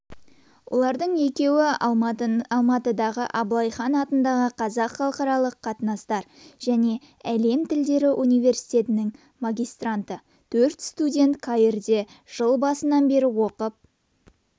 олардың екеуі алматыдағы абылай хан атындағы қазақ халықаралық қатынастар және әлем тілдері университетінің магистранты төрт студент каирде жыл басынан бері оқып